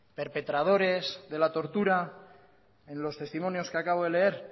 perpetradores de la tortura en los testimonios que acabo de leer